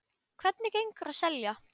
Hvernig gengur að selja?